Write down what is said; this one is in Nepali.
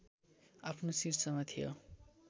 आफ्नो शीर्षमा थियो